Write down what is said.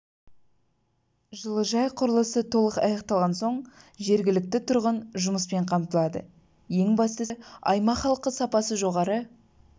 жылыжай құрылысы толық аяқталған соң жергілікті тұрғын жұмыспен қамтылады ең бастысы аймақ халқы сапасы жоғары